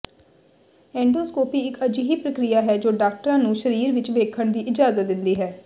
endoscopy ਇਕ ਅਜਿਹੀ ਪ੍ਰਕਿਰਿਆ ਹੈ ਜੋ ਡਾਕਟਰਾਂ ਨੂੰ ਸਰੀਰ ਵਿਚ ਵੇਖਣ ਦੀ ਇਜਾਜ਼ਤ ਦਿੰਦੀ ਹੈ